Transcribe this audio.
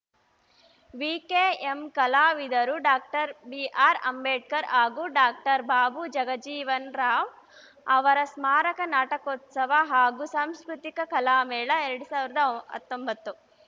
VKM ಕಲಾವಿದರು doctor B R Ambedkar ಹಾಗೂ doctor Babu Jagjivanram ಅವರ ಸ್ಮಾರಕ ನಾಟಕೋತ್ಸವ ಹಾಗೂ ಸಾಂಸ್ಕೃತಿಕ ಕಲಾ ಮೇಳ ಎರಡ್ ಸಾವಿರದ ಆ ಹತ್ತೊಂಬತ್ತು